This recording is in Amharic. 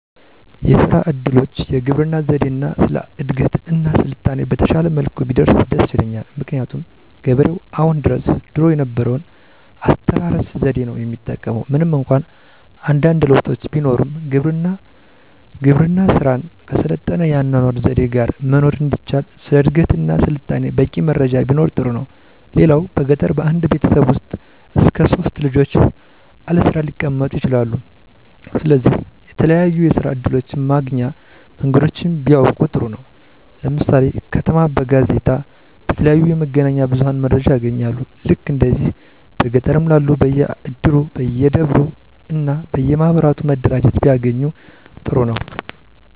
የስራ እድሎች፣ የግብርና ዘዴ እና ስለ እድገት እና ስልጣኔ በተሻለ መልኩ ቢደርስ ደስ ይለኛል። ምክንያቱም ገበሬው አሁን ድረስ ድሮ የነበረውን አስተራረስ ዘዴ ነው የሚጠቀም ምንም እንኳ አንዳንድ ለውጦች ቢኖሩም። የግብርና ስራን ከሰለጠነ የአኗኗር ዘዴ ጋረ መኖር እንዲቻል ስለ እድገትና ስልጣኔ በቂ መረጃም ቢኖር ጥሩ ነው። ሌላው በገጠር በአንድ ቤተሰብ ውስጥ እስከ 3 ልጆች አለስራ ሊቀመጡ ይችላሉ ስለዚህ የተለያዩ የስራ እድሎች ማግኛ መንገዶችን ቢያውቁ ጥሩ ነው። ለምሳሌ ከተማ በጋዜጣ፣ በተለያዩ የመገናኛ ብዙኃን መረጃ ያገኛሉ። ልክ እንደዚህ በገጠርም ላሉት በየ እድሩ፣ በየደብሩ እና በየ ማኅበራቱ መረጃ ቢያገኙ ጥሩ ነው